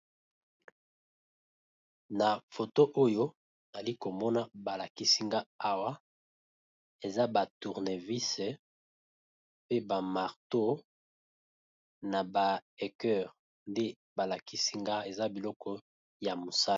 na foto oyo ali komona balakisinga awa eza batournevise pe bamarto na ba heceur nde balakisinga eza biloko ya mosai